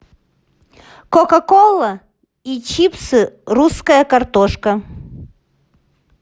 кока кола и чипсы русская картошка